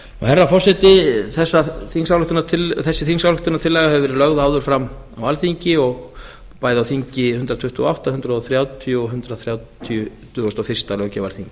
herra forseti þessi þingsályktunartillaga hefur verið lögð áður fram á alþingi bæði á þingi hundrað tuttugu og átta hundrað þrjátíu og hundrað þrítugasta og fyrsta löggjafarþingi